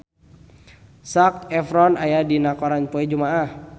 Zac Efron aya dina koran poe Jumaah